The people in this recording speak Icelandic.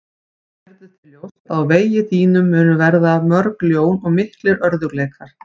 Gerðu þér ljóst að á vegi þínum munu verða mörg ljón og miklir örðugleikar.